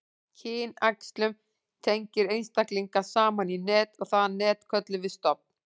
kynæxlun tengir einstaklinga saman í net og það net köllum við stofn